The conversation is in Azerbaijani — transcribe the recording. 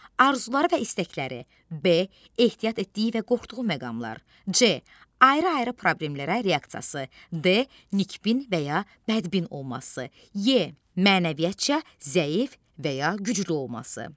Arzuları və istəkləri, B ehtiyat etdiyi və qorxduğu məqamlar, C ayrı-ayrı problemlərə reaksiyası, D nikbin və ya bədbin olması, E mənəviyyatca zəif və ya güclü olması.